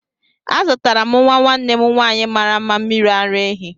Azụtara m nwa nwanne m nwanyị mara mma mmiri ara ehi.